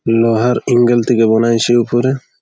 লোহার অ্যাঙ্গেল থেকে বনাইছে উপরে ।